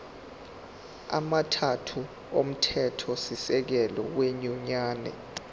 amathathu omthethosisekelo wenyunyane